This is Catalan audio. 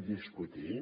i discutir